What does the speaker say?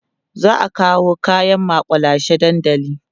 za'a kawo kaƴan makullashe dandali